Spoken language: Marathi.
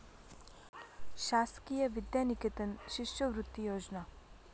शासकीय विद्यानिकेतन शिष्यवृत्ती योजना